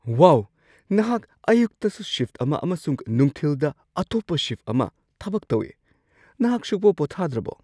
ꯋꯥꯎ! ꯅꯍꯥꯛ ꯑꯌꯨꯛꯇꯁꯨ ꯁꯤꯐꯠ ꯑꯃ ꯑꯃꯁꯨꯡ ꯅꯨꯡꯊꯤꯜꯗ ꯑꯇꯣꯞꯄ ꯁꯤꯐꯠ ꯑꯃ ꯊꯕꯛ ꯇꯧꯋꯤ! ꯅꯍꯥꯛ ꯁꯨꯛꯄꯣ ꯄꯣꯊꯥꯗ꯭ꯔꯕꯣ?